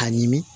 A ɲimi